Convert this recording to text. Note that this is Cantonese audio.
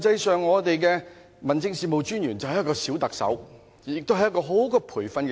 十八區的民政事務專員實際上便是"小特首"，亦是一個很好的培訓基地。